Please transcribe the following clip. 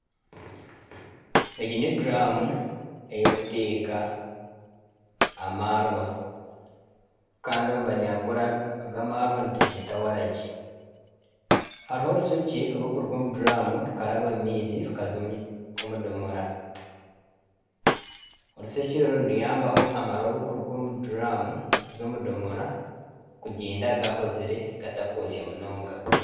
Egi n'eduraamu ey'okuteeka amaarwa kandi omu banyankore aga amaarwa nitugeeta waragi hariho orushekye rurikuruga omu duuramu rukaraba omu maizi rukaza omu domora, orushekye oru niruyambaho amaarwa ag'okuruga omu duuramu kuza omu domora kugyenda gahozire gatakwosya munonga.